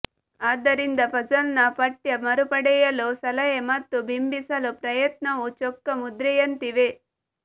ಆದ್ದರಿಂದ ಪಝಲ್ನ ಪಠ್ಯ ಮರುಪಡೆಯಲು ಸಲಹೆ ಮತ್ತು ಬಿಂಬಿಸಲು ಪ್ರಯತ್ನವು ಚೊಕ್ಕಮುದ್ರೆಯಂತಿವೆ